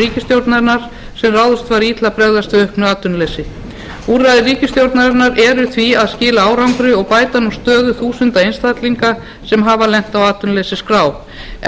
ríkisstjórnarinnar sem ráðist var í til að bregðast við auknu atvinnuleysi úrræði ríkisstjórnarinnar eru því að skila árangri og bæta nú stöðu þúsunda einstaklinga sem hafa lent á atvinnuleysisskrá